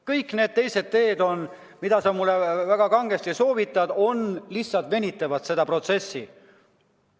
Kõik need teised teed, mida sa mulle kangesti soovitad, lihtsalt venitavad seda protsessi.